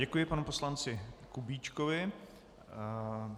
Děkuji panu poslanci Kubíčkovi.